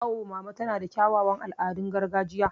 Awo mama tana da kyawawan al'adun gargajiya.